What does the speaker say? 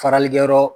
Faralikɛyɔrɔ